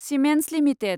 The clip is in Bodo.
Siemens limited